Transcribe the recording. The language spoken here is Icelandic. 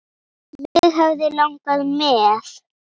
Mig hefði langað með.